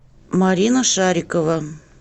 марина шарикова